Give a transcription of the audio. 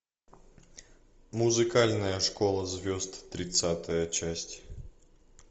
музыкальная школа звезд тридцатая часть